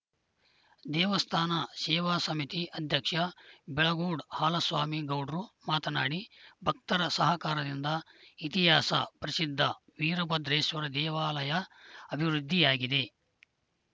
ದೇವಸ್ಥಾನ ಸೇವಾ ಸಮಿತಿ ಅಧ್ಯಕ್ಷ ಬೆಳಗೋಡು ಹಾಲಸ್ವಾಮಿ ಗೌಡ್ರು ಮಾತನಾಡಿ ಭಕ್ತರ ಸಹಕಾರದಿಂದ ಇತಿಹಾಸ ಪ್ರಸಿದ್ಧ ವೀರಭದ್ರೇಶ್ವರ ದೇವಾಲಯ ಅಬಿವೃದ್ಧಿಯಾಗಿದೆ